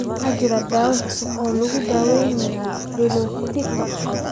Ma jiraan daawayn cusub oo lagu daweeyo pili tortika?